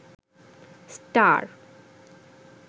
star